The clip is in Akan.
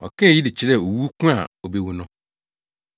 Ɔkaa eyi de kyerɛɛ owu ko a obewu no.